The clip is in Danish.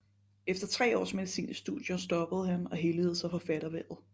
Efter tre års medicinstudier stoppede han og helligede sig forfatterhvervet